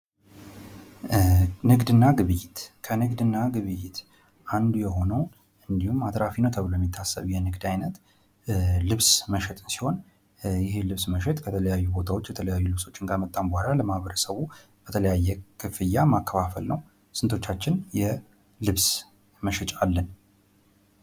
ንግድና ግብይት ከንግድና ግብይት አንዱ የሆነው እንድሁም አትራፊ ነው ተብሎ የሚታሰብ የንግድ አይነት ልብስ መሸጥ ሲሆን ይህ ልብስ መሸጥ ከተለያዩ ቦታዎች የተለያዩ ልብሶችን ካመጣን በኋላ ለማህበረሰቡ በተለያየ ክፍያ ማከፋፈል ነው። ስንቶቻችን የልብስ መሸጫ አለን?